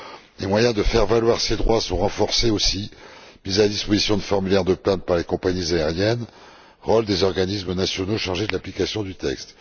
Les moyens de faire valoir ces droits sont renforcés aussi mise à disposition de formulaires de plainte par les compagnies aériennes et rôle des organismes nationaux chargés de l'application du texte.